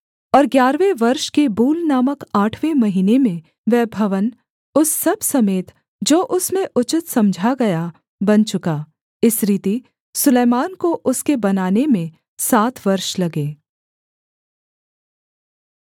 और ग्यारहवें वर्ष के बूल नामक आठवें महीने में वह भवन उस सब समेत जो उसमें उचित समझा गया बन चुका इस रीति सुलैमान को उसके बनाने में सात वर्ष लगे